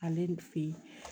Ale nin fe yen